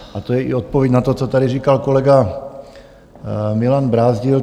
A to je i odpověď na to, co tady říkal kolega Milan Brázdil.